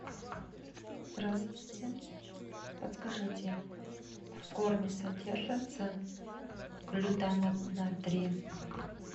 здравствуйте подскажите в корме содержится глутамат натрия